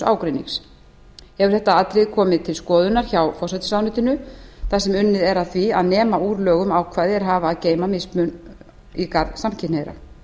ágreinings hefur þetta atriði komið til skoðunar hjá forsætisráðuneytinu þar sem unnið er að því að nema úr lögum ákvæði er hafa að geyma mismun í garð samkynhneigðra